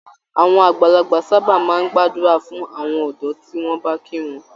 Àwọn àgbàlagbà sábà máa ń gbàdúrà fún àwọn ọ̀dọ́ tí wọ́n bá kí wọn.